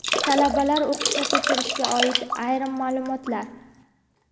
Talabalar o‘qishini ko‘chirishga oid ayrim maʼlumotlar.